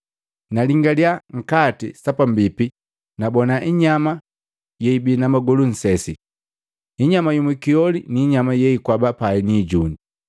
Nalingalia nkati sapambipi nabona inyama yeibi na magolu nnsesi, inyama yu mukioli niinyama yeikwaba pai ni ijuni.